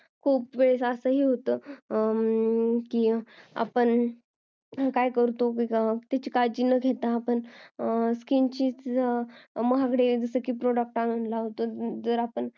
खूप वेळ असे होता पण त्याची काळजी न घेता skin महागडे product आणून लावतो